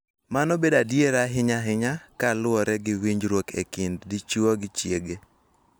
Mano bedo adier ahinya ahinya ka luwore gi winjruok e kind dichuo gi chiege.